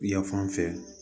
Yan fan fɛ